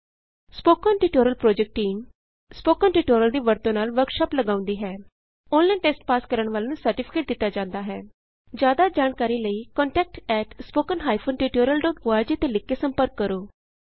spoken tutorial project team spoken tutorial ਦੀ ਵਰਤੋਂ ਨਾਲ ਵਰਕਸ਼ਾਪ ਲਗਾਉਂਦੀ ਹੈ ਔਨਲਾਈਨ ਟੈਸਟ ਪਾਸ ਕਰਨ ਵਾਲਿਆਂ ਨੂੰ ਸਰਟੀਫਿਕੇਟ ਦਿਤਾ ਜਾਂਦਾ ਹੈ ਜਿਆਦਾ ਜਾਣਕਾਰੀ ਲਈ contact at spoken hyphen tutorial dot org ਤੇ ਲਿਖ ਕੇ ਸੰਪਰਕ ਕਰੋ